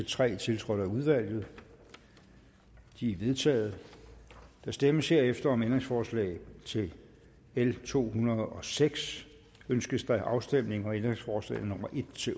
tre tiltrådt af udvalget de er vedtaget der stemmes herefter om ændringsforslag til l 206 ønskes afstemning om ændringsforslagene en